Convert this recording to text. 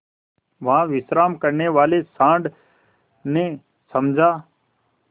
वहाँ विश्राम करने वाले सॉँड़ ने समझा